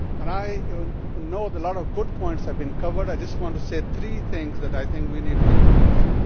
I know that a lot of good points have been covered and I just want to say three things that we need to be looking at.